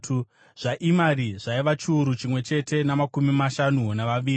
zvaImari zvaiva chiuru chimwe chete namakumi mashanu navaviri;